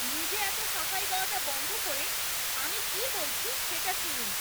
নিজে এত সাফাই গাওয়াটা বন্ধ করে আমি কী বলছি সেটা শুনুন!